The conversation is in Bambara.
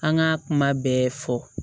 An ka kuma bɛɛ fɔ